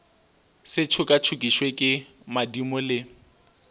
se tšokatšokišwe ke madimo le